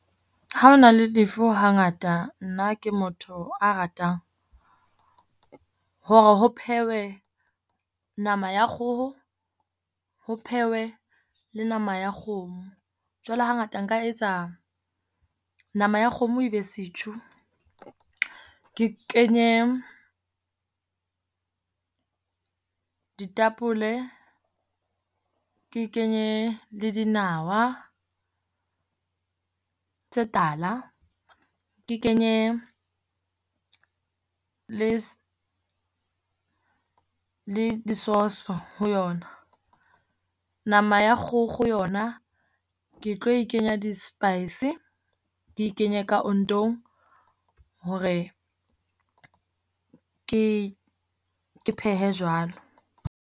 Ha ho na le lefu hangata nna ke motho a ratang hore ho phehwe nama ya kgoho, ho phehwe le nama ya kgomo. Jwale hangata nka etsa nama ya kgomo e be setjhu, ke kenye ditapole ke kenye le dinawa tse tala, ke kenye le le sauce-so ho yona. Nama ya kgokgo yona ke tlo e kenya di-spice, ke e kenye ka ontong, hore ke ke phehe jwalo.